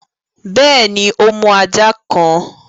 Bẹ́ẹ̀ni, o mú ajá kan